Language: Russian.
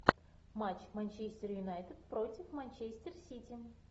матч манчестер юнайтед против манчестер сити